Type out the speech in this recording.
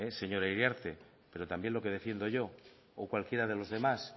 señora iriarte pero también lo que defiendo yo o cualquiera de los demás